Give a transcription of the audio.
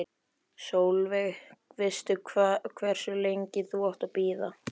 Sólveig: Veistu hversu lengi þú átt að bíða?